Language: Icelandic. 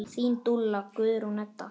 Þín dúlla, Guðrún Edda.